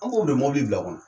An b'o ble mobili bil'a kɔnɔ